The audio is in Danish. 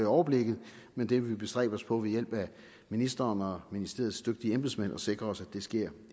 overblikket men vi vil bestræbe os på ved hjælp af ministeren og ministeriets dygtige embedsmænd at sikre os at det sker